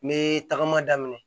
Me tagama daminɛ